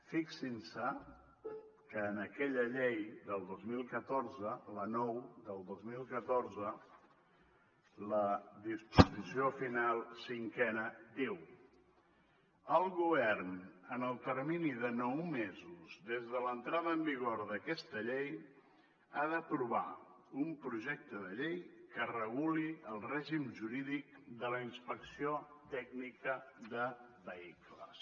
fixin se que en aquella llei del dos mil catorze la nou del dos mil catorze la disposició final cinquena diu el govern en el termini de nou mesos des de l’entrada en vigor d’aquesta llei ha d’aprovar un projecte de llei que reguli el règim jurídic de la inspecció tècnica de vehicles